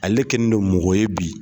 Ale kɛlen don mɔgɔ ye bi.